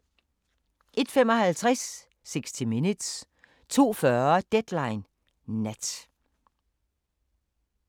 01:55: 60 Minutes 02:40: Deadline Nat